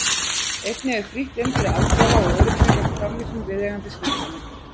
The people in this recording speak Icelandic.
Einnig er frítt inn fyrir aldraða og öryrkja gegn framvísun viðeigandi skírteina.